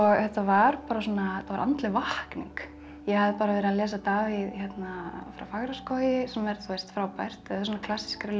þetta var andleg vakning ég hafði bara verið að lesa Davíð frá Fagraskógi sem er frábært en svona klassískari ljóð